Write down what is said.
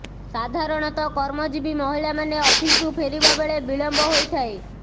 ସାଧାରଣତଃ କର୍ମଜୀବୀ ମହିଳା ମାନେ ଅଫିସରୁ ଫେରିବାରେ ବିଳମ୍ବ ହୋଇଥାଏ